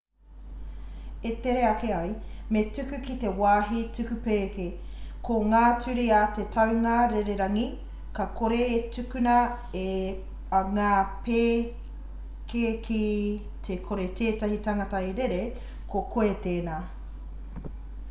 e tere ake ai me tuku ki te wāhi tuku pēke ko ngā ture a te taunga rererangi ka kore e tukuna ngā pēke ki te kore tētahi tangata e rere ko koe tēnā